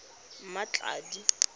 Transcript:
mmatladi